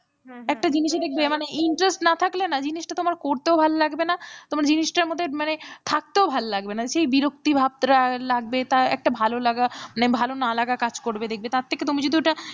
একটা জিনিস এই দেখবে মানে interest না থাকলে না জিনিসটা তোমার করতেও ভালো লাগবে না তোমার জিনিসটার মধ্যে মানে থাকতেও ভাল লাগবে না সে বিরক্তির ভাবটা লাগবে তা একটা ভালো লাগা, ভালো না লাগার কাজ করবে দেখবে তার থেকে তুমি যদি ওটা,